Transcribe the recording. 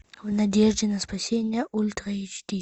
в надежде на спасение ультра эйч ди